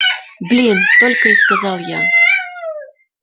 блин только и сказал я